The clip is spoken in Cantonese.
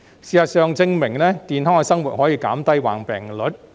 事實證明，健康的生活可以減低患病率。